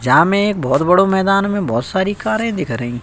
जा में बहोत बड़ो मैदान में बहोत सारी कारे दिख रही --